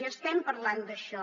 i estem parlant d’això